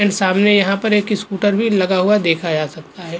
And सामने यहाँ पर एक स्कूटर भी लगा हुआ देखा जा सकता है।